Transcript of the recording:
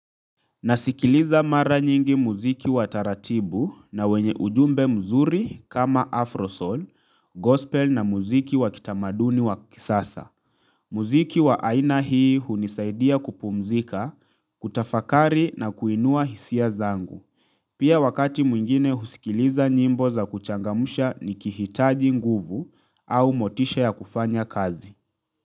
Nasikiliza mara nyingi muziki wa taratibu na wenye ujumbe mzuri kama Afrosoul, gospel na muziki wa kitamaduni wa kisasa. Muziki wa aina hii hunisaidia kupumzika, kutafakari na kuinua hisia zangu. Pia wakati mwingine husikiliza nyimbo za kuchangamusha nikihitaji nguvu au motisha ya kufanya kazi.